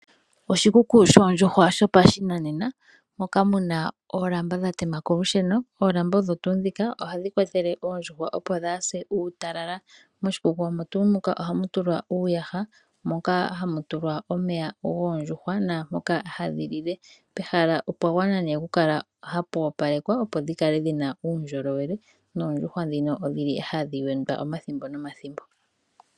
Oshikuku shoondjuhwa shopashinanena moka mu na oolamba dha tema kolusheno. Oolamba odho tuu ndhika ohadhi kwathele oondjuhwa opo dhaa se uutalala. Moshikuku omo tuu muka ohamu tulwa uuyaha moka hamu tulwa omeya goondjuhwa, naamoka hadhi lile. Pehala opwa gwana okukala hapu opalekwa opo dhi kale dhi na uundjolowele, noondjuhwa ndhino odhi li hadhi wendwa omathimbo nomathimbo.